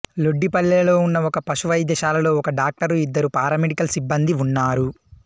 లొడ్డిపల్లెలో ఉన్న ఒక పశు వైద్యశాలలో ఒక డాక్టరు ఇద్దరు పారామెడికల్ సిబ్బందీ ఉన్నారు